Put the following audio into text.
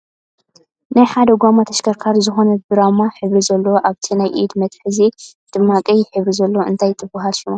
ናይ ሓደ ጎማ ተሽከርካሪት ዝኮነት ብራማ ሕብሪ ዘለዎ ኣብቲ ናይ ኢድ መትሐዚኣ ድማ ቀይሕ ሕብሪ ዘለዎ እነታይ ትብሃል ሽማ ?